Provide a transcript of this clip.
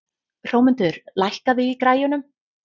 Hrómundur, lækkaðu í græjunum.